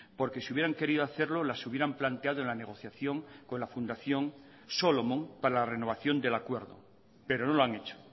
porque si hubieran querido hacerlo las hubieran planteado en la negociación con la fundación solomon para la renovación del acuerdo pero no lo han hecho